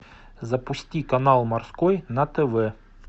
запусти канал морской на тв